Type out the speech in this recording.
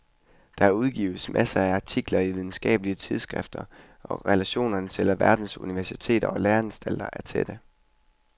Der udgives masser af artikler i videnskabelige tidsskrifter og relationerne til alverdens universiteter og læreanstalter er tætte.